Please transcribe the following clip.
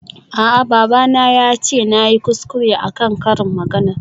A'a babana yace nayi kuskure akan karin maganar.